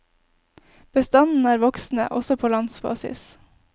Bestanden er voksende, også på landsbasis.